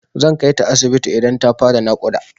Zan kaita asibiti idan ta fara naƙuda.